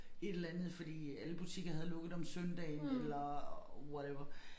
Et eller andet fordi alle butikker havde lukket om søndagen eller whatever